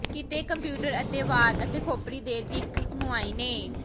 ਕੀਤੇ ਕੰਪਿਊਟਰ ਅਤੇ ਵਾਲ ਅਤੇ ਖੋਪੜੀ ਦੇ ਦਿੱਖ ਮੁਆਇਨੇ